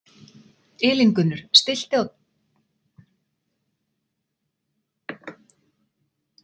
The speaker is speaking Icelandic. Elíngunnur, stilltu tímamælinn á fjörutíu og sjö mínútur.